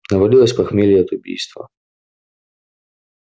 навалилось похмелье от убийства